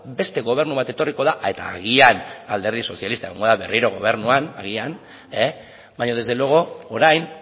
beste gobernu bat etorri da eta agian alderdi sozialista egongo da berriro gobernuan agian baina desde luego orain